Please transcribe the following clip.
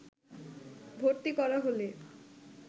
ভর্তি করা হলে